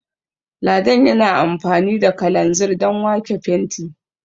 Ladan yana amfani da kalanzir Dan wake fenti